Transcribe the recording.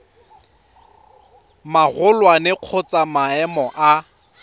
magolwane kgotsa wa maemo a